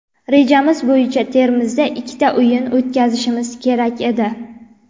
Rejamiz bo‘yicha Termizda ikkita o‘yin o‘tkazishimiz kerak edi.